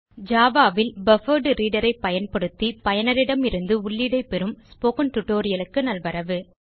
Java ல் buffered reader ஐ பயன்படுத்தி பயனர் இடமிருந்து உள்ளீடைப் பெறும் ஸ்போக்கன் tutorialக்கு நல்வரவு